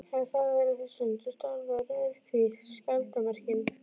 Hann þagði litla stund og starði á rauðhvít skjaldarmerkin.